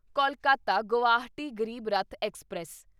Kolkata Guwahati Garib Rath express